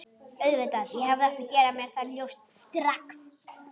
Auðvitað, ég hefði átt að gera mér það ljóst strax.